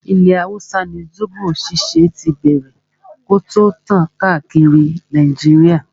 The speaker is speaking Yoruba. Ilẹ̀ hausa ni zobo ṣíṣe tí bẹ̀rẹ̀ kí o tó tàn káàkiri Nàìjíríà.